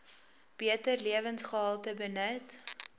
beter lewensgehalte benut